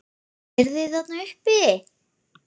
Eruð þið þarna uppi!